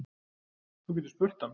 Þú getur spurt hann.